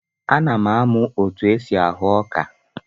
Ana m amụ otu esi ahụ ọka.